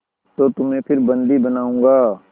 तो तुम्हें फिर बंदी बनाऊँगा